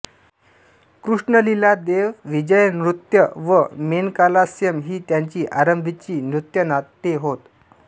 कृष्णलिला देव विजय नृत्य व मेनकालास्यम् ही त्यांची आंरभीची नृत्यनाट्ये होत